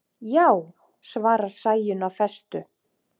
Já, svarar Sæunn af festu.